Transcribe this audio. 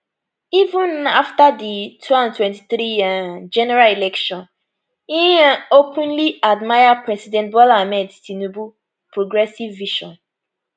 even afta di 2023 um general election im um openly admire president bola ahmed tinubu progressive vision